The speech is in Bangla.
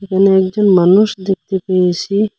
এখানে একজন মানুষ দেখতে পেয়েসি।